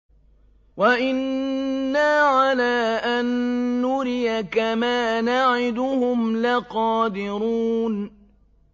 وَإِنَّا عَلَىٰ أَن نُّرِيَكَ مَا نَعِدُهُمْ لَقَادِرُونَ